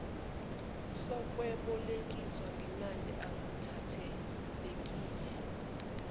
sokwebolekisa ngemali akukhathalekile